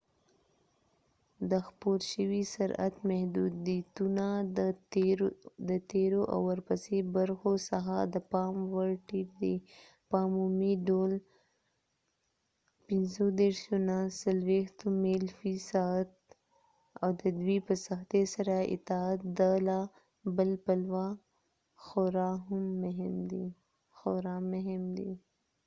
د خپور شوي سرعت محدودیتونه د تیرو او ورپسې برخو څخه د پام وړ ټیټ دي — په عمومي ډول ۴۰-۳۵ میل فی ساعت ۵۶-۶۴ کلومتره/سعت — او د دوی په سختي سره اطاعت د له بل پلوه خورا مهم دی